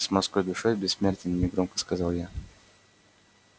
с морской душой бессмертен негромко сказал я